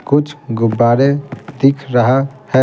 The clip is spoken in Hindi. कुछगुब्बारे दिख रहा है।